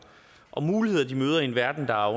og muligheder de møder i en verden der